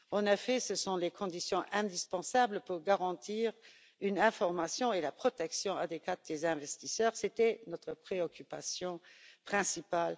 En effet, ce sont les conditions indispensables pour garantir une information et une protection adéquates des investisseurs, c'était notre préoccupation principale.